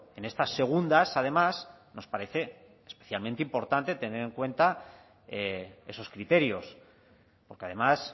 en estas segundas además nos parece especialmente importante tener en cuenta esos criterios porque además